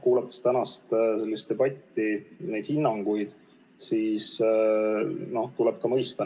Kuulates tänast debatti ja hinnanguid, siis tuleb neid ametnikke ka mõista.